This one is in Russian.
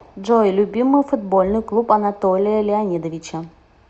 джой любимый футбольный клуб анатолия леонидовича